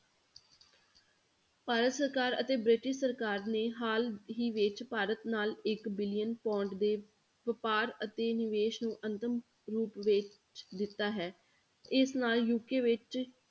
ਭਾਰਤ ਸਰਕਾਰ ਅਤੇ ਬ੍ਰਿਟਿਸ਼ ਸਰਕਾਰ ਨੇ ਹਾਲ ਹੀ ਵਿੱਚ ਭਾਰਤ ਨਾਲ ਇੱਕ billion pound ਦੇ ਵਾਪਾਰ ਅਤੇ ਨਿਵੇਸ ਨੂੰ ਅੰਤਮ ਰੂਪ ਵਿੱਚ ਦਿੱਤਾ ਹੈ, ਇਸ ਨਾਲ UK ਵਿੱਚ,